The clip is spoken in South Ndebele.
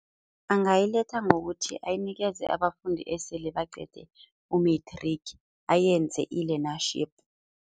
Angayiletha ngokuthi ayinikele abafundi esele baqede u-matric, ayenze i-learnership.